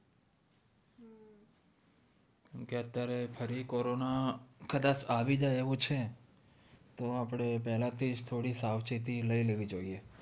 અત્યારે તો ફરી corona કદાચ આવી જાય એવું છે તો આપણે પેહલા થી થોડી સાવચેતી લઇ લેવી જોયે